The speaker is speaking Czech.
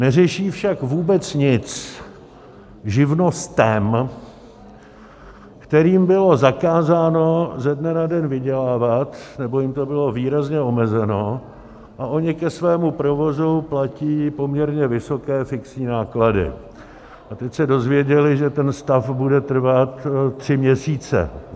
Neřeší však vůbec nic živnostem, kterým bylo zakázáno ze dne na den vydělávat, nebo jim to bylo výrazně omezeno, a ony ke svému provozu platí poměrně vysoké fixní náklady a teď se dozvěděly, že ten stav bude trvat tři měsíce.